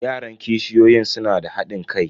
Yaran kishiyoyin suna da hadin kai.